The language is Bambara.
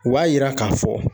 U b'a yira k'a fɔ